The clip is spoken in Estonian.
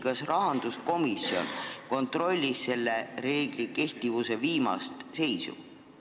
Kas rahanduskomisjon kontrollis selle reegli kehtivuse viimast seisu?